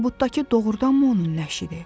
Tabutdakı doğrudanmı onun nəşidi?